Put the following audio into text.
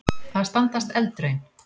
Að standast eldraun